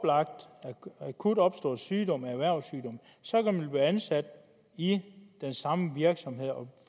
en akut opstået sygdom erhvervssygdom så kan man blive ansat i den samme virksomhed og